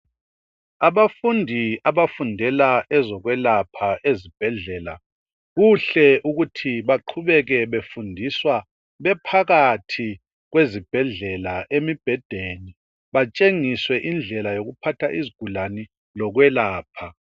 Abafundi abafundela ezokwelapha ezibhedlela kuhle ukuthi baqhubeke befundiswa bephakathi kwezibhedlela emibhedeni batshengiswe indlela zokuphatha izigulane lokwelapha